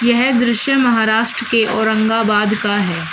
यह दृश्य महाराष्ट्र के औरंगाबाद का है।